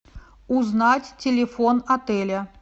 узнать телефон отеля